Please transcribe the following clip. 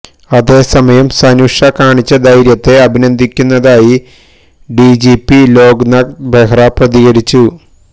അതേസമയം സനുഷ കാണിച്ച ധൈര്യത്തെ അഭിനന്ദിക്കുന്നതായി ഡിജിപി ലോക് നാഥ് ബെഹ്റ പ്രതികരിച്ചു